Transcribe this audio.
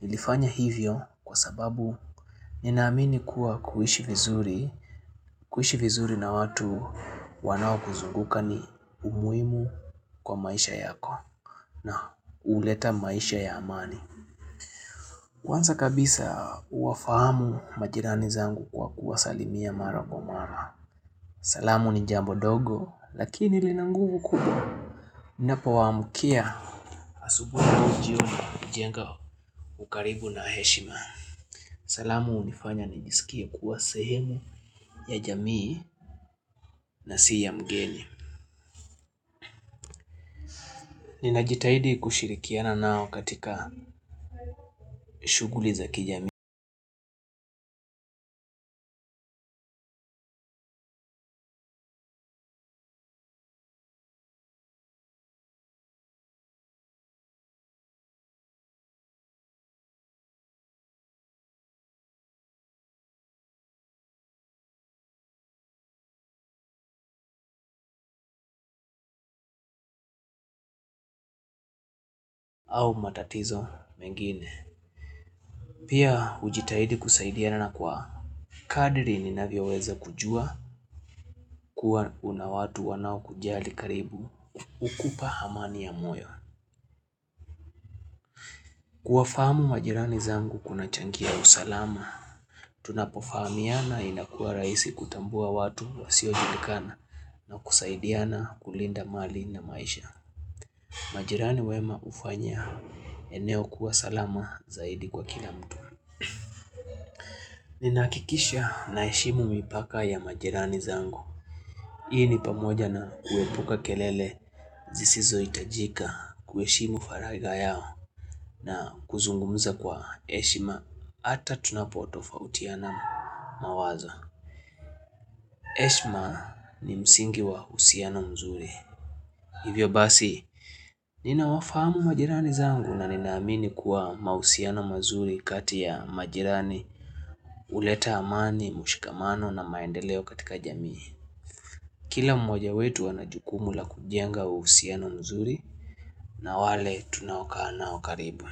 Nilifanya hivyo kwa sababu ninaamini kuwa kuishishi vizuri na watu wanao kuzunguka ni muhimu kwa maisha yako. Na huleta maisha ya amani. Kwanza kabisa, uwafahamu majirani zangu kwa kuwasalimia mara kwa mara. Salamu ni jambo dogo lakini lina nguvu kubwa. Napowaamkia asubuhi na jioni hujenga ukaribu na heshima. Salamu hunifanya nijisikie kuwa sehemu ya jamii na si, ya mgeni. Ninajitahidi kushirikiana nao katika shughuli za kijamii au matatizo mengine. Pia, hujitahidi kusaidiana na kwa kadiri ninavyoweza kujua kuwa una watu wanaokujali karibu hukupa amani ya moyo. Kuwafahamu majirani zangu kunachangia usalama, tunapofahamiana inakua rahisi kutambua watu wa siojilikana na kusaidiana kulinda mali na maisha. Majirani wema hufanya eneo kuwa salama zaidi kwa kila mtu. Ninahakikisha naheshimu mipaka ya majirani zangu. Hii ni pamoja na kuepuka kelele zisizo hitajika, kuheshimu faragha yao, na kuzungumza kwa heshima hata tunapotofautiana mawazo. Heshima ni msingi wa uhusiano mzuri. Hivyo basi, ninawafahamu majirani zangu na ninaamini kuwa mahusiano mazuri kati ya majirani huleta amani, mshikamano na maendeleo katika jamii. Kila mmoja wetu ana jukumu la kujenga uhusiano mzuri na wale tunakaanao karibu.